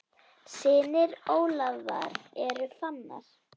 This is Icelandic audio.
Synir Ólafar eru Fannar.